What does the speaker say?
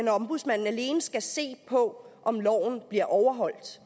at ombudsmanden alene skal se på om loven bliver overholdt